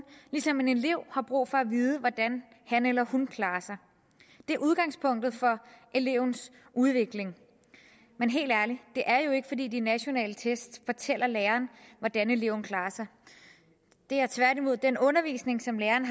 ligesom en elev har brug for at vide hvordan han eller hun klarer sig det er udgangspunktet for elevens udvikling men helt ærligt det er jo ikke fordi de nationale test fortæller læreren hvordan eleven klarer sig det er tværtimod den undervisning som læreren